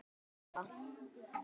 Hvernig verður það?